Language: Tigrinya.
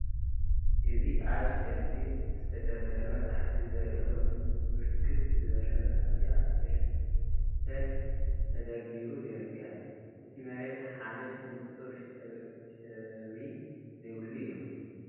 እዚ አብ ሸልፍ ዝተደርደረ መፃሕፍቲ ዘርኢ ኮይኑ ብርክት ዝበለ መፃሕፍቲ አብ ሸልፍ ተደርዲሩ ይርከብ፡፡ እቲ መሬት ሓማድ ንፁር ሽብሪ ዘይብሉ እዩ፡፡